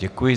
Děkuji.